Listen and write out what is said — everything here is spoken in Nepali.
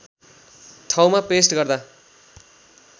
ठाउँमा पेस्ट गर्दा